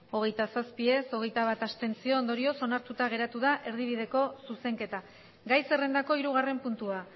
hogeita zazpi ez hogeita bat abstentzio ondorioz onartuta geratu da erdibideko zuzenketa gai zerrendako hirugarren puntua